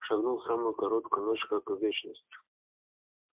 шагнули в самую короткую ночь как в вечность